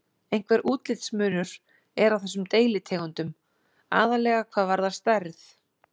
Einhver útlitsmunur er á þessum deilitegundum, aðallega hvað varðar stærð.